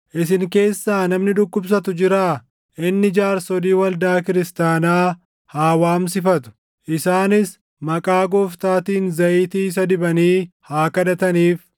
Isin keessaa namni dhukkubsatu jiraa? Inni jaarsolii waldaa kiristaanaa haa waamsifatu; isaanis maqaa Gooftaatiin zayitii isa dibanii haa kadhataniif.